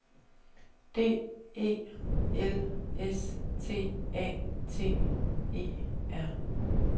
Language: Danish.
D E L S T A T E R